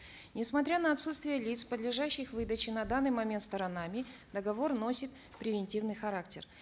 несмотря на отсутствие лиц подлежащих выдаче на данный момент сторонами договор носит превентивный характер